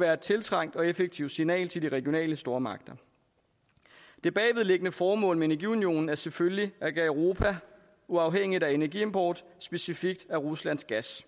være et tiltrængt og effektivt signal til de regionale stormagter det bagvedliggende formål med energiunionen er selvfølgelig at gøre europa uafhængigt af energiimport specifikt af ruslands gas